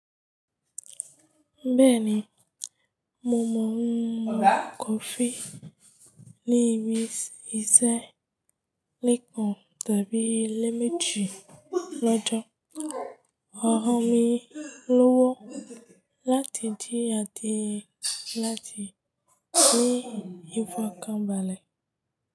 Bẹ́ẹ̀ni, mo mọ ohun kò fi ní ibi ìṣẹ́, lẹ́ẹ̀kan tàbí lẹ́ẹ̀mẹ́ji lọ́jọ́. Ọ̀rọ̀ mi lọ́wọ́ láti di àdíẹ láti ní ifọ̀kànbalẹ̀